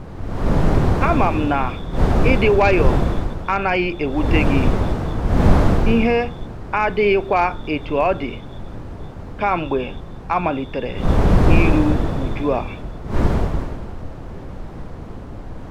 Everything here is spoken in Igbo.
Ama m na ịdị nwayọ a anaghị ewute gị, ihe adighịkwa etu ọ dị kamgbe amalitere iru uju a.